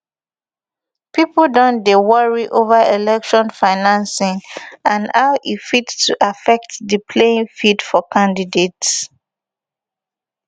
pipo don dey worry ova election financing and how e fit to affect di playing field for di candidates